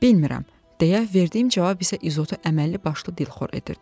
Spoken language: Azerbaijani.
Bilmirəm deyə verdiyim cavab isə İzotu əməlli başlı dilxor edirdi.